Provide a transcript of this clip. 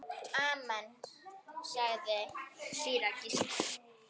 Amen, sagði síra Gísli.